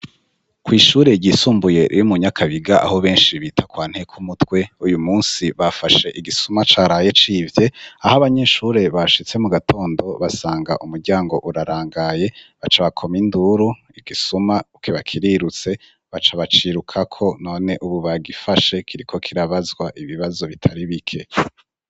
Kw'ishure ryisumbuye iri mu Nyakabiga aho benshi bita kwa nteko mutwe, uyu munsi bafashe igisuma caraye civye aho abanyeshure bashitse mu gatondo basanga umuryango urarangaye baca bakoma induru igisuma uke bakirirutse baca baciruka ko none ubu bagifashe kiriko kirabazwa ibibazo bitari bike.